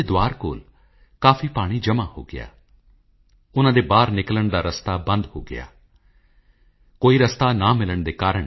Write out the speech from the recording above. ਅਬਦੁਲ ਕਲਾਮ ਟੁਮਕੁਰ ਗਏ ਸਨ ਕਲਾਮ ਸਾਹਿਬ ਨੇ ਇਸ ਮੌਕੇ ਪੂਜਨੀਕ ਸਵਾਮੀ ਜੀ ਲਈ ਇੱਕ ਕਵਿਤਾ ਸੁਣਾਈ ਸੀ ਉਨ੍ਹਾਂ ਕਿਹਾ ਸੀ